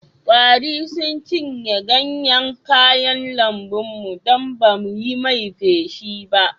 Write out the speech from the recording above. Kwari sun cinye ganyen kayan lambun mu don ba mu yi mai feshi ba